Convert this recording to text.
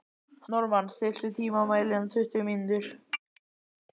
Normann, stilltu tímamælinn á tuttugu mínútur.